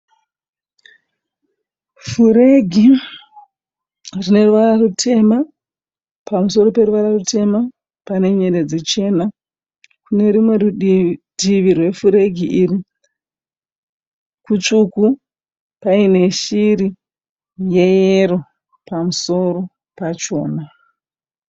Furegi rine ruvara rutema. Pamusoro peruvara rutema pane nyeredzi chena. Kune rumwe rutivi rwefuregi iyi kutsvuku paine shiri yeyero pamusoro pachona.